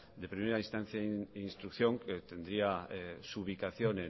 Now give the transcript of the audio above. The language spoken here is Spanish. de primera instancia e instrucción que tendría su ubicación